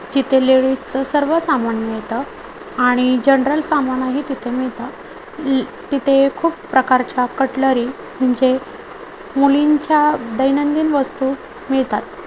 तिथं लेडीज चं सर्व सामान मिळतं आणि जनरल सामान आहे तिथं मिळतं ल-- तिथे खूप प्रकारच्या कटलरी म्हणजे मुलींच्या दैनंदिन वस्तू मिळतात.